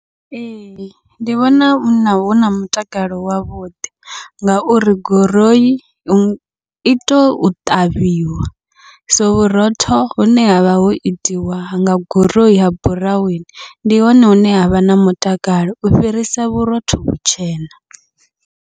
Ee, ndi vhona huna huna mutakalo wavhuḓi, ngauri guroi ito ṱavhiwa so vhurotho hune havha ho itiwa nga guroi ha buraweni, ndi hone hune havha na mutakalo u fhirisa vhurotho vhutshena.